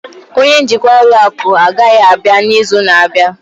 onye njikwa ụlọ akụ agaghị abịa n'izu na-abịa